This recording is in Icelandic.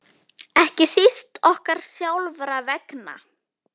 Ekki síst okkar sjálfra vegna.